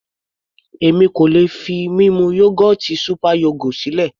Èmi kò lè fi mímu yógọ́ọ̀tì super yogo sílẹ̀.